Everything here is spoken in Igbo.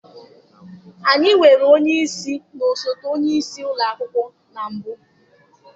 Anyị nwere onye isi na osote onye isi ụlọ akwụkwọ na mbụ.